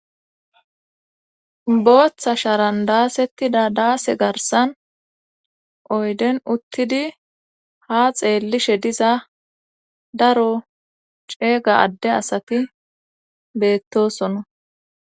booththa sharan daasettida daase garsan oyden uttidi ha xeellishe diza daro ceega adde asati beettosona